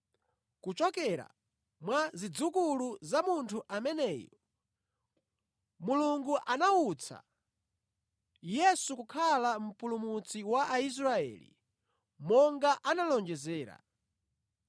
“Kuchokera mwa zidzukulu za munthu ameneyu, Mulungu anawutsa Yesu kukhala Mpulumutsi wa Aisraeli, monga analonjezera.